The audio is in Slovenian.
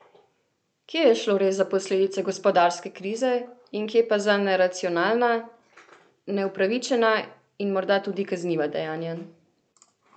Kje je šlo res za posledice gospodarske krize in kje pa za neracionalna, neupravičena in morda tudi kazniva dejanja?